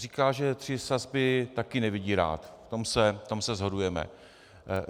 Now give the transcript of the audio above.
Říká, že tři sazby taky nevidí rád, v tom se shodujeme.